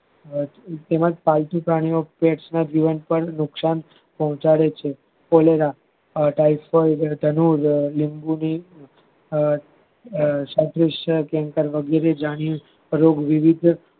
તેમજ પાલતુ પ્રાણી ઓ કે નુકશાન પોંહચાડે છે પાયસન ની મૂળ ગુંદી આ સાથેપક્ષ દરેક વિવિધ